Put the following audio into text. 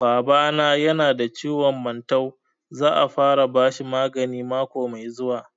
Baba na ya na da ciwon mantau, za a fara bashi magani mako mai zuwa